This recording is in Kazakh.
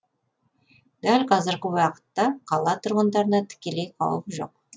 дәл қазіргі уақытта қала тұрғындарына тікелей қауіп жоқ